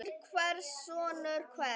Dóttir hvers og sonur hvers.